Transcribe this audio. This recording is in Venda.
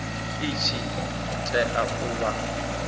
i tshi tea u vha